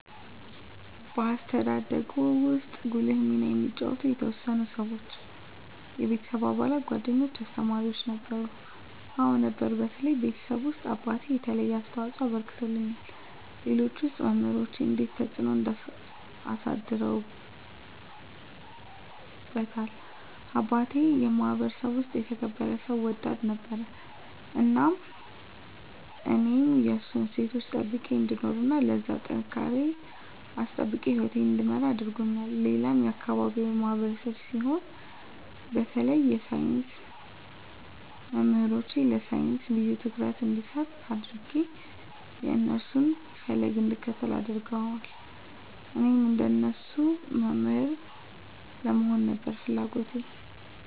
በአስተዳደግዎ ውስጥ ጉልህ ሚና የተጫወቱ የተወሰኑ ሰዎች (የቤተሰብ አባላት፣ ጓደኞች፣ አስተማሪዎች ወዘተ) ነበሩ? አዎ ነበሩ በተለይ ቤተሰቤ ውስጥ አባቴ የተለየ አስተዋፅኦ አበርክቶልኛል ሌሎች ውስጥ መምራኖቼ እንዴትስ ተጽዕኖ አሳድረውብዎታል አባቴ የማህበረሰቡ ውስጥ የተከበረ ሰው ወዳድ ነበር እናም እኔም የእሱን እሴቶች ጠብቄ እንድኖር እና ለዛሬ ጥንካሬየን አስጠብቄ ህይወቴን እንድመራ አድርጎኛል ሌላም የአካባቢው ማህበረሰብ ሲሆን በተለይ የሳይንስ መምህሮቼ ለሳይንስ ልዬ ትኩረት እንድሰጥ አድጌ የእነሱን ፈለግ እንድከተል አድርገዋል እኔም እንደነሱ መምህር ለመሆን ነበር ፍለጎቴ